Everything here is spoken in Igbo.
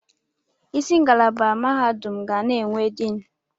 Isi ngalaba mahadum ga na-enwe diin.